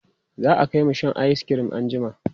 za'a Kai mu Shan ayis cream an jima